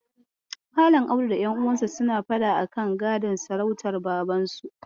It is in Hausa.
Malam Audu da ƴanuwansa suna faɗa akan gadon sarautar Babansu.